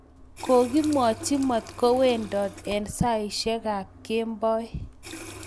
kokimwachi matkowendat eng saishiek ab kemboi